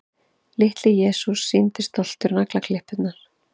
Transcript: Litli-Jesús sýndi stoltur naglaklippurnar.